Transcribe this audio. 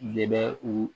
Le bɛ u